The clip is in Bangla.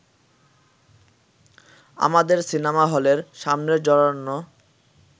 আমাদের সিনেমা-হলের সামনের জনারণ্য